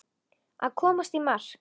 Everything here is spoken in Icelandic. Að komast í mark